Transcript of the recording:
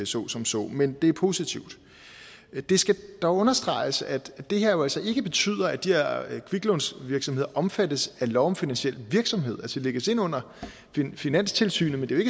så som så men det er positivt det skal dog understreges at det her jo altså ikke betyder at de her kviklånsvirksomheder omfattes af lov om finansiel virksomhed altså lægges ind under finanstilsynet men det er